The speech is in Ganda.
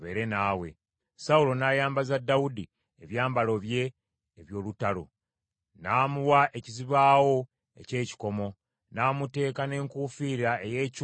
Sawulo n’ayambaza Dawudi ebyambalo bye eby’olutalo; n’amuwa ekizibaawo eky’ekikomo, n’amuteeka n’enkuufiira ey’ekikomo ku mutwe.